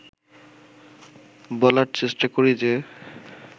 বলার চেষ্টা করি যে